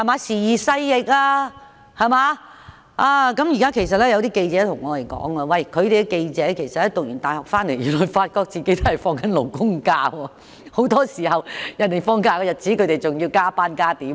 時移勢易，現在有些記者對我們說，大學畢業後才發覺自己是按勞工假期休假，很多時候人們放假，自己還要加班。